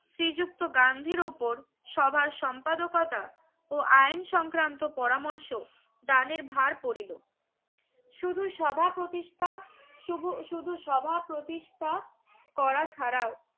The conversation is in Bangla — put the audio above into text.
শ্রী যুক্ত গান্ধী উপর সভার সম্পাদকতা ও আইন সংক্রান্ত পরামর্শ দানের ভার পরিলো শুধু সভা প্রতিষ্ঠা সুভু শুধু সভা প্রতিষ্ঠা করা ছাড়াও